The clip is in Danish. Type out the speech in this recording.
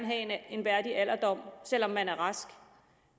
have en værdig alderdom selv om man er rask